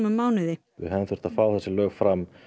mánuði við hefðum þurft að fá þessi lög fram